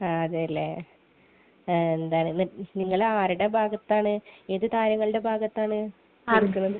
അതേലെ? എന്താണ്? നിങ്ങൾ ആരുടെ ഭാഗത്താണ്? ഏത് താരങ്ങളുടെ ഭാഗത്താണ് നിക്കണത് ?